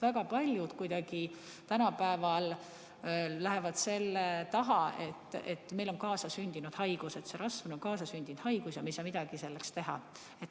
Väga paljud tänapäeval peituvad kuidagi selle taha, et neil on kaasasündinud haigus, see rasv on kaasasündinud haigus ja nad ei saa midagi teha.